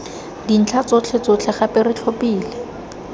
dintlha tsotlhetsotlhe gape re tlhophile